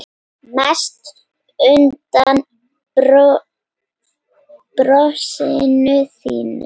Mest undan brosinu þínu.